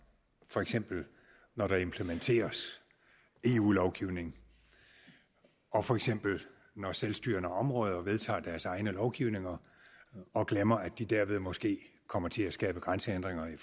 for eksempel når der implementeres eu lovgivning og for eksempel når selvstyrende områder vedtager deres egne lovgivninger og glemmer at de dermed måske kommer til at skabe grænsehindringer i